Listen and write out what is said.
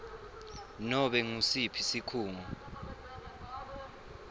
nobe ngusiphi sikhungo